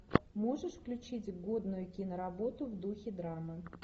можешь включить годную киноработу в духе драмы